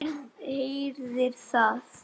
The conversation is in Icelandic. Og herðir að.